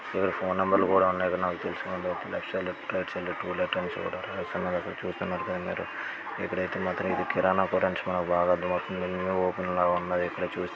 ఈడ phone number లు కూడా ఉన్నాయి ఇక్కడ నాకు తెలుసుకున్నట్లయితే లెఫ్ట్ సైడ్ లో రైట్ సైడ్ లో అయితే టోలెట్ అయితే ఉంది చూడండ్రి. కదా న దగ్గర అయితే చూస్తున్నారు కదా మీరు ఇక్కడైతే మాత్రమే ఇది కిరాణం పురన్షీ అని బాగా అర్థమవుతుంది. ఇధి ఓపెన్ లాగా ఉన్నది. ఇక్కడ చూసినట్లయితే--